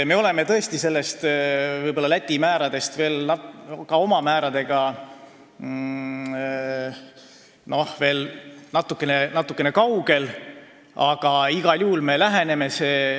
Me oleme tõesti oma määradega Läti määradest veel natukene kaugel, aga igal juhul me läheneme neile.